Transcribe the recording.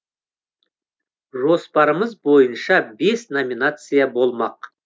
жоспарымыз бойынша бес номинация болмақ